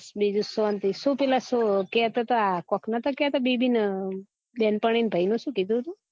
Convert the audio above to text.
બીજું શાંતિ સુ પીલા સુ કેતા તા ને કો કે બેબી ના બેનપણી ના ભૈયો સુ કીધું તું